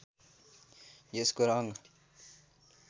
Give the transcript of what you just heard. यसको रङ्ग